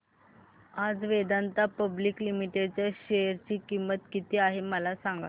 आज Vedanta public limited च्या share ची किंमत किती आहे मला सांगा